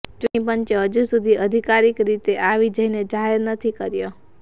ચૂંટની પંચે હજુ સુધી અધિકારીક રીતે આ વિજયને જાહેર નથી કર્યો